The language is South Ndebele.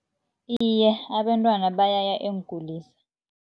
Iye, abentwana bayaya eenkulisa.